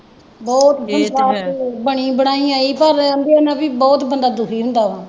ਬਹੁਤ ਬਣੀ ਬਣਾਈ ਆਂਈਂ ਪਰ ਕਹਿੰਦੇ ਉਹਦੇ ਨਾਲ ਵੀ ਬਹੁਤ ਬੰਦਾ ਦੁਖੀ ਹੁੰਦਾ ਵਾ